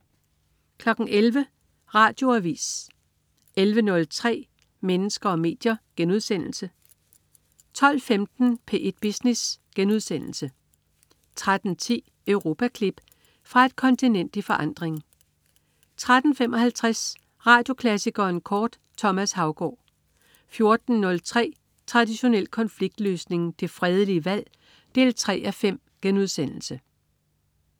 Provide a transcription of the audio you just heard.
11.00 Radioavis 11.03 Mennesker og medier* 12.15 P1 Business* 13.10 Europaklip. Fra et kontinent i forandring 13.55 Radioklassikeren kort. Thomas Haugaard 14.03 Traditionel konfliktløsning. Det fredelige valg 3:5*